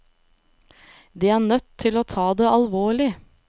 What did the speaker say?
De er nødt til å ta det alvorlig.